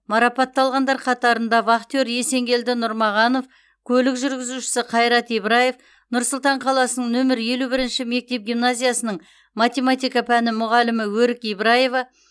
марапатталғандар қатарында вахтер есенгелді нұрмағанов көлік жүргізуші қайрат ибраев нұр сұлтан қаласының нөмірі елу бірінші мектеп гимназиясының математика пәні мұғалімі өрік ибраева